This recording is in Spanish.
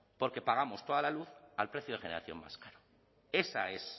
porque pagamos toda la luz al precio de generación vasca